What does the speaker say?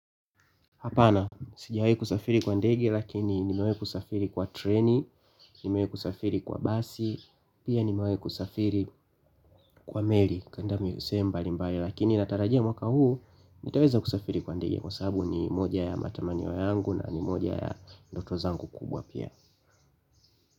Hapana, sijawai kusafiri kwa ndege lakini nimewahi kusafiri kwa treni, nimewahi kusafiri kwa basi, pia nimewahi kusafiri kwa meli kuenda sehemu mbalimbali lakini natarajia mwaka huu nitaweza kusafiri pande hiyo kwa sababu ni moja ya matamanio yangu na ni moja ya ndoto zangu kubwa.